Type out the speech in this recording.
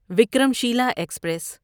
Vikram شیلہ express